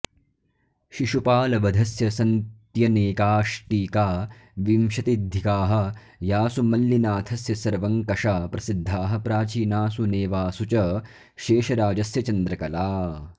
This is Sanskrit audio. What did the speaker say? शिशुपालवधस्य सन्त्यनेकाष्टीका विशत्यधिंकाः यासु मल्लिनाथस्य सर्वङ्कषा प्रसिद्धाः प्राचीनासु नेवासु च शेषराजस्य चन्द्रकला